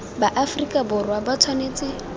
ba aferika borwa ba tshwanetse